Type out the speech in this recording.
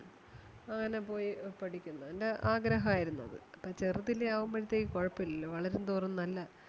അങ്ങനെ പോയി പഠിക്കുന്നു അവന്റെ ആഗ്രഹം ആയിരുന്നത്. അപ്പം ചെറുതിലേ ആകുമ്പഴത്തേക്ക് കൊഴപ്പം ഇല്ലല്ലോ വളരുന്തോറും നല്ല